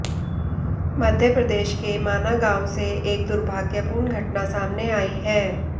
मध्य प्रदेश के माना गांव से एक दुर्भाग्यपूर्ण घटना सामने आई है